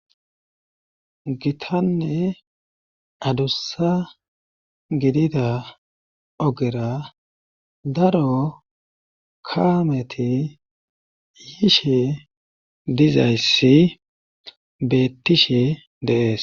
gitanne adussa gidida ogera daro kaameti yiishe dizayssi beettishe de'ees